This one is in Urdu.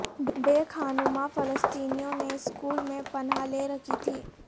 بے خانماں فلسطینیوں نے سکول میں پناہ لے رکھی تھی